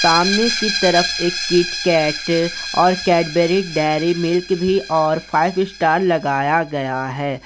सामने की तरफ एक किटकैट और कैडबरी डेयरी मिल्क भी और फाइव स्टार लगाया गया है।